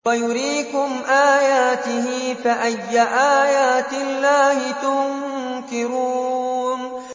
وَيُرِيكُمْ آيَاتِهِ فَأَيَّ آيَاتِ اللَّهِ تُنكِرُونَ